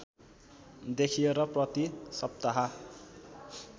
देखियो र प्रति सप्ताह